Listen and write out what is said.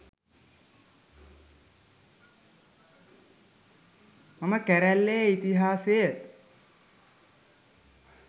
මම කැරැල්ලේ ඉතිහාසය